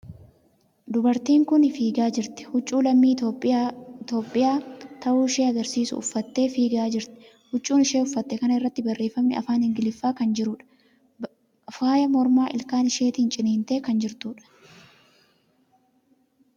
Dubartiin kuni fiigaa jirti. Huccuu lammii Itiyoophiyyaa ta'uu ishee agarsiisu uffattee fiigaa jirti. Huccuu isheen uffatte kana irratti, barreeffamni afaan Ingiliffaa kan jiruudha. Faaya mormaa ilkaan isheetin ciniintee kan jirtuudha.